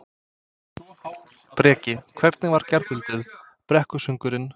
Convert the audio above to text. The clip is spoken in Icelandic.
Breki: Hvernig var gærkvöldið, brekkusöngurinn?